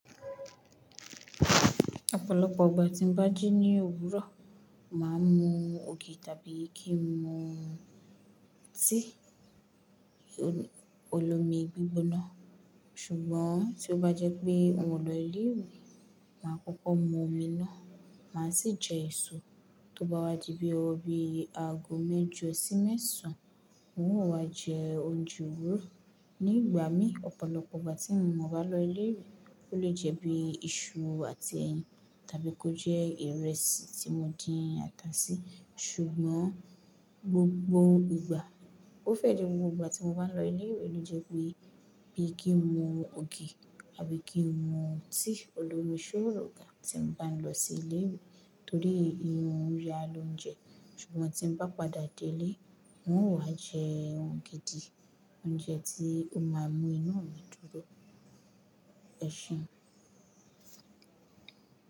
Ọ̀pọ̀lọpọ̀ ìgbà tí mo bá jí ní òwúrọ̀, màá mu ògì tàbí kí n mu tí olómi gbígbóná. Ṣùgbọ́n tí ó bá jẹ́ pé mò lọ ilé ìwé, màá kọ́kọ́ mu omi náà, màá sì jẹ èso tó bá wá di bí i ọwobi àgbo méjì ọ̀sín mẹ́sàn án, mò ń wá jẹ oúnjẹ Òwúrọ̀. Ní ìgbà mí, ọ̀pọ̀lọpọ̀ ìgbà tí mo bá lọ ilé ìwé, ó lè jẹ́ bí i iṣu àti ẹyin tàbí kó jẹ́ ìrẹsì tí mo dín ata sí. Ṣùgbọ́n gbogbo ìgbà, ó fẹ́ di gbogbo ìgbà tí mo bá ń lọ ilé ìwé ló jẹ́ pé bí i kí n mu ògì àbí kí n mu tí olómi sórò ga tí n bá ń lọ sí ilé ìwé torí i ohun ya lòúnjẹ. Ṣùgbọ́n tí n bá padà dé ilé, mò ń wá jẹ ohùn gidi, oúnjẹ tí o máa mú inú omi dúró. Ẹ̀ṣeun.